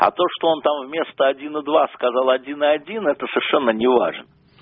а то что он там вместо один и два сказал один и один это совершенно не важно